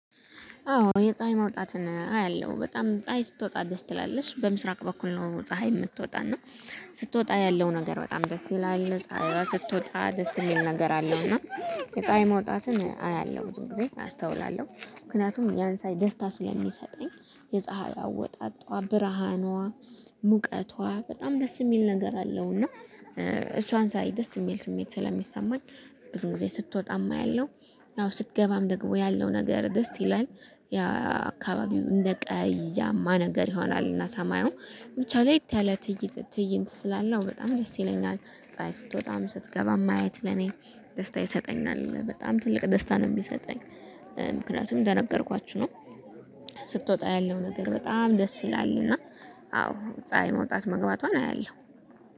አዎ የፀሀይ መውጣትን አያለሁ በጣም ፀሀይ ስትወጣ ደስ ትላለች በምስራቅ በኩል ነው ፀሀይ ምትወጣ እና ስትወጣ ያለው ነገር በጣም ደስ ይላል ፀሀይዋ ስትወጣ ደስ እሚል ነገር አለው። እና የፀሀይ መውጣትን አያለሁ ብዙ ጊዜ አስተውላለሁ ምክንያቱም ያን ሳይ ደስታ ስለሚሰጠኝ የፀሀይ አወጣጧ ብርሃኗ ሙቀቷ በጣም ደስ እሚል ነገር አለው። እና እሷን ሳይ ደስ እሚል ስሜት ስለሚሰማኝ ብዙን ጊዜ ስትወጣም አያለው ያው ስትገባም ደግሞ ያለው ነገር ደስ ይላል። ያ አካባቢው እንደ ቀያማ ነገር ይሆናል እና ሰማዩ ብቻ ለየት ያለ ትይ ትእይንት ስላለው በጣም ደስ ይለኛል። ፀሀይ ስትወጣም ስትገባም ማየት ለኔ ደስታ ይሰጠኛል በጣም ትልቅ ደስታ ነው ሚሰጠኝ። ምክንያቱም እንደነገርኳችሁ ነው። ስትወጣ ያለው ነገር በጣም ደስ ይላል እና አዎ ፀሀይ መውጣት መግባቷን አያለሁ